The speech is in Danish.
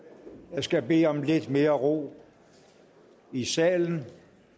jeg skal bede om lidt mere ro i salen